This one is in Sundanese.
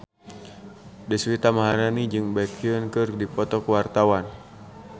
Deswita Maharani jeung Baekhyun keur dipoto ku wartawan